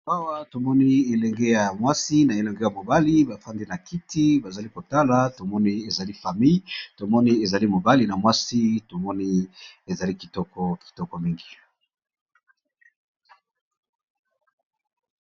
ambawa tomoni ilengea mwasi na ilengea mobali bafandi na kiti vazali kotala tomoni izali fami tomoni izali mobali na mwasi tomoni izali kitoko kitoko mingi